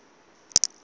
ndi nnyi ane a vha